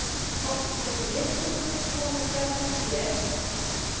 åttionio tusen tvåhundrafemtioett